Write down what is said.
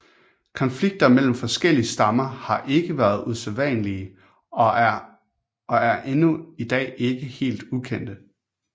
Konflikter mellem forskellige stammer har ikke været usædvanlige og er endnu i dag ikke helt ukendte